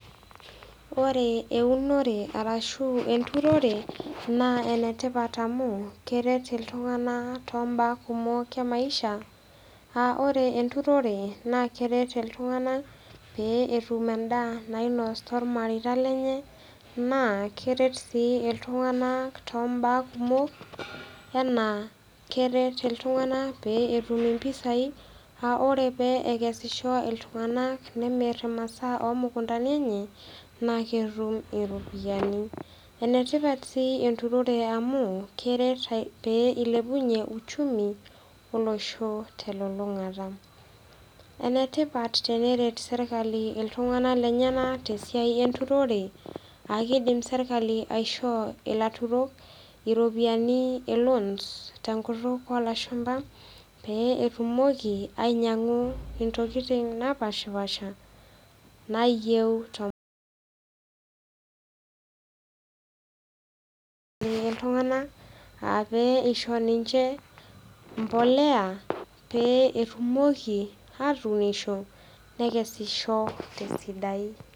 Ore eunore arashu enturore naa enetipat amu, keret iltung'anatoo imbaa kumok e maisha, aa ore enturore naa keret iltunganak pee etum endaa nainos too ilmareita lenye, naa keret sii iltung'anak too imbaa kumok, anaa keret iltung'anak pee etum impisai aa ore pee ekesisho iltunganak, nemir imasaa oo imukuntani enye, naa ketum iropiani. Enetip enturore sii amu, keret eilepunye uchumi olosho, telulung'ata. Ene tipat teneret sirkali iltung'ana lenyena, te esiai enturore, aa keidim sirkali aishoo ilaturok iropiani e loans te enkutuk oo ilashumba pee etumoki, ainyang'u intokitin napaashipaasha nayieu toiltungana aa peisho ninche emplolea pee etumoki atuuniosho nekesisho te esidai.